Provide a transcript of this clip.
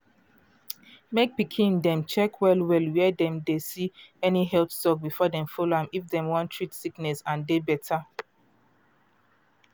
mek pikin dem check well well where dem dey see any health talk before dem follow am if dem wan treat sickness and dey better.